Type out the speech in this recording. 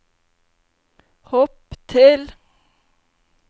hopp til